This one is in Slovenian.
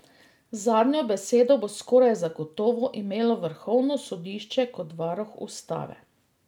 Zadnjo besedo bo skoraj zagotovo imelo vrhovno sodišče kot varuh ustave.